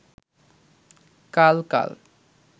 কাল কাল